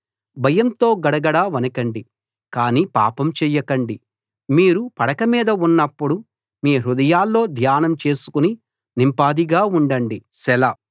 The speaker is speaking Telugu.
భయంతో గడగడ వణకండి కానీ పాపం చెయ్యకండి మీరు పడక మీద ఉన్నప్పుడు మీ హృదయాల్లో ధ్యానం చేసుకుని నింపాదిగా ఉండండి సెలా